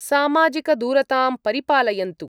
सामाजिकदूरतां परिपालयन्तु,